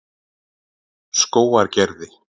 Skógargerði